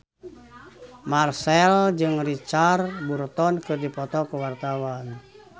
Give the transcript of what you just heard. Marchell jeung Richard Burton keur dipoto ku wartawan